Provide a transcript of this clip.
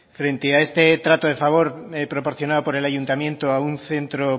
frente a este trato de favor proporcionado por el ayuntamiento a un centro